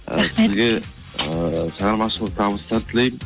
ы сізге ыыы шығармашылық табыстар тілеймін